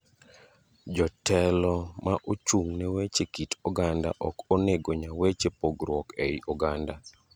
Jotelo mma ochung ne weche kit oganda ok onego nya weche pogruok ei oganda.